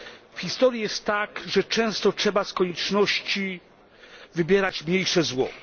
W historii jest tak, że często trzeba z konieczności wybierać mniejsze zło.